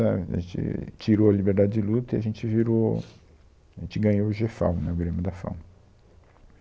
A gente tirou a liberdade de luta e a gente virou, a gente ganhou o Gê FAO né, o Grêmio da FAO.